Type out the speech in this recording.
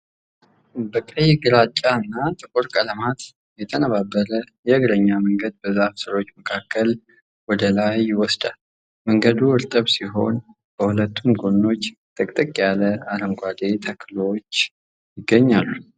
በቀይ፣ ግራጫና ጥቁር ቀለማት የተነባበረ የእግረኛ መንገድ በዛፍ ሥሮች መካከል ወደ ላይ ይወስዳል። መንገዱ እርጥብ ሲሆን፣ በሁለቱም ጎኖቹ ጥቅጥቅ ያለ አረንጓዴ ተክሎች ይገኛሉ።